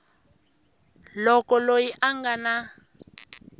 loko loyi a nga na